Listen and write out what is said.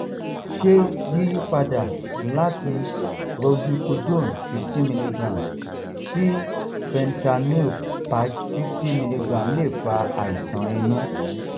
ṣé yiyípadà láti roxicodone fifteen milligram sí fentanyl patch fifty milligram lè fa àisan inu?